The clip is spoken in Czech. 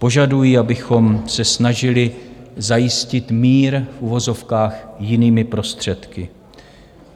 Požadují, abychom se snažili zajistit mír, v uvozovkách, jinými prostředky.